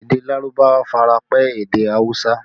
Èdè Lárúbáwá fi ara pẹ́ èdè awusa